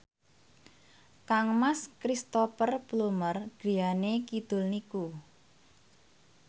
kangmas Cristhoper Plumer griyane kidul niku